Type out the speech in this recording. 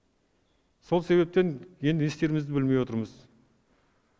сол себептен енді не істерімізді білмей отырмыз